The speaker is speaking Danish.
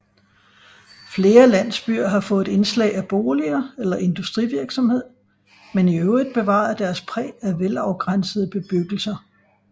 Flere landsbyer har fået indslag af boliger eller industrivirksomhed men i øvrigt bevaret deres præg af velafgrænsede bebyggelser